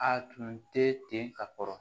A tun tɛ ten ka kɔrɔ